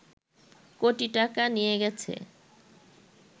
কোটি টাকা নিয়েগেছে